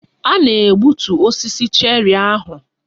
A na-egbutu osisi cherri ahụ.